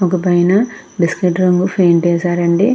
ఒక పైన biscuit colour paint వేసారు అండి.